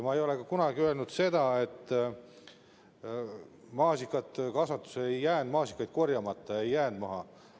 Ma ei ole kunagi öelnud seda, et maasikakasvatuses ei jäänud maasikaid korjamata, ei jäänud maha.